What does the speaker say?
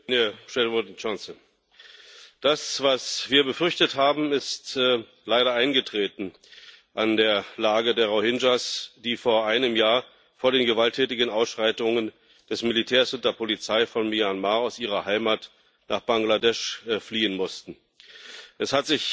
Herr Präsident! Das, was wir befürchtet haben, ist leider eingetreten. An der Lage der Rohingya, die vor einem Jahr vor den gewalttätigen Ausschreitungen des Militärs und der Polizei von Myanmar aus ihrer Heimat nach Bangladesch fliehen mussten, hat sich